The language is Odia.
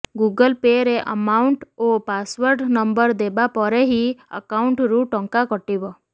ଗୁଗଲ ପେ ରେ ଆମାଉଣ୍ଟ୍ ଓ ପାସୱାର୍ଡ ନମ୍ବର ଦେବା ପରେ ହିଁ ଆକାଉଣ୍ଟରୁ ଟଙ୍କା କଟିବ